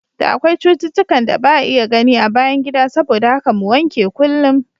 Da akwai cututtukan da ba'a iya gani a bayan gida saboda haka mu wanke kullum.